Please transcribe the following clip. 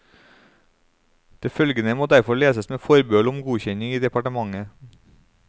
Det følgende må derfor leses med forbehold om godkjenning i departementet.